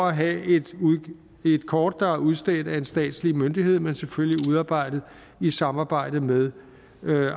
have et kort der er udstedt af en statslig myndighed men selvfølgelig udarbejdet i samarbejde med